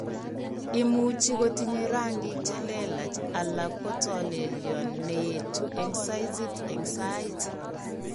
Imuche kotinye rangik chelelach alako tolelyon neyeetu eng' saizit eng' saait